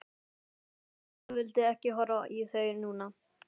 Lóa-Lóa vildi ekki horfa í þau núna.